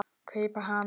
kaupa hann.